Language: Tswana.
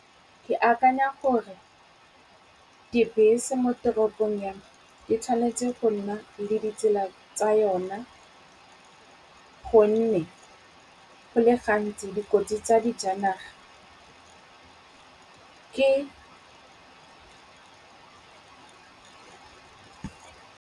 Ke akanya gore, dibese mo toropong ya me di tshwanetse go nna le ditsela tsa yona, gonne go le gantsi dikotsi tsa di janaga ke.